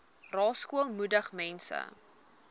rasool moedig mense